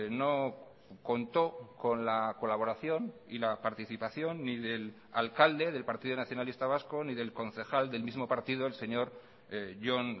no contó con la colaboración y la participación ni del alcalde del partido nacionalista vasco ni del concejal del mismo partido el señor jon